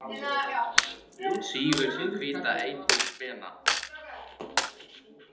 Hún sýgur sinn hvíta eitur spena.